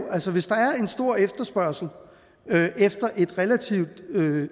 en stor efterspørgsel efter et relativt